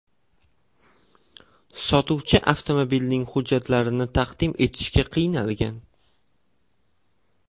Sotuvchi avtomobilning hujjatlarni taqdim etishga qiynalgan.